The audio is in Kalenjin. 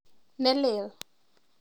Nelel.